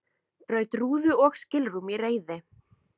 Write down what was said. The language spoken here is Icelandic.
Braut rúðu og skilrúm í reiði